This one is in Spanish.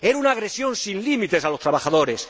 era una agresión sin límites a los trabajadores.